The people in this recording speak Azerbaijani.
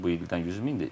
İndi bu ildən 100 mindir.